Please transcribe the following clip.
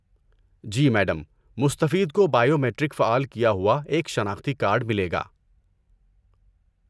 جی، madam! مستفید کو biometric فعال کیا ہوا ایک شناختی کارڈ ملے گا۔